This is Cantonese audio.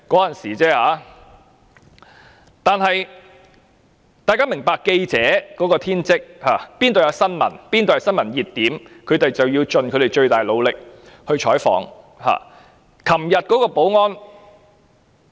但是，大家要明白，記者的職責是，哪裏是新聞熱點，他們便要盡其最大努力採訪。